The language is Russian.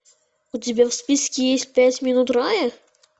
у тебя в списке есть пять минут рая